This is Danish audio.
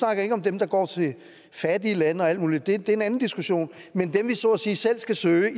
jeg ikke om dem der går til fattige lande og alt muligt det er en anden diskussion men dem vi så at sige selv skal søge